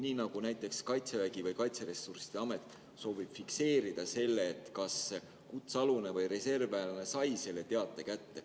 Nii nagu näiteks Kaitsevägi või Kaitseressursside Amet soovib fikseerida selle, et kutsealune või reservväelane sai teate kätte.